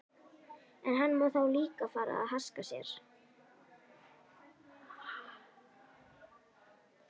En hann má þá líka fara að haska sér.